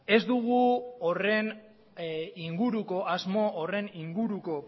ez dugu horren inguruko asmo horren inguruko